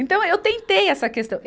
Então eu tentei essa questão.